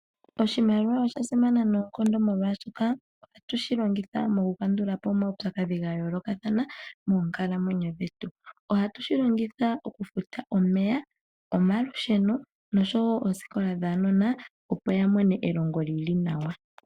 Oshimaliwa osha simana noonkondo, molwaashoka ohatu shi longitha oku kandulapo omawupyakadhi gayoolokathana moonkalamwenyo dhetu. Ohatu shi longitha oku futa omeya, omalusheno nooshowo oku futa oosikola dhaanona, opo ya mone elongo lyili nawa.